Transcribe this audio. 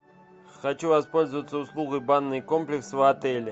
хочу воспользоваться услугой банный комплекс в отеле